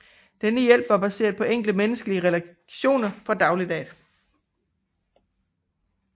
Denne hjælp var baseret på enkle menneskelige reaktioner fra dagliglivet